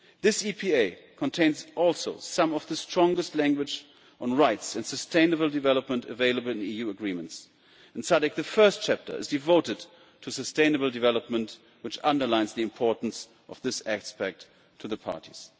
This EPA also contains some of the strongest language on rights and sustainable development available in EU agreements. In SADC the first chapter is devoted to sustainable development, which underlines the importance of this aspect to the parties.